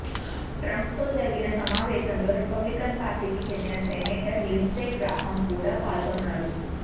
ట్రంప్తో జరిగిన సమావేశంలో రిపబ్లికన్ పార్టీకి చెందిన సెనేటర్ లిండ్సే గ్రాహాం కూడా పాల్గొన్నారు